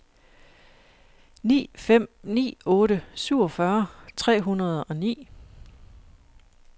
ni fem ni otte syvogfyrre tre hundrede og ni